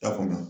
Ta kɔnɔ